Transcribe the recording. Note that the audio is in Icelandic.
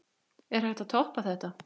Er hægt að toppa þetta?